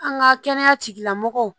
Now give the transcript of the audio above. An ka kɛnɛya tigilamɔgɔw